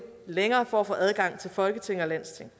længere for at få adgang til folketing og landsting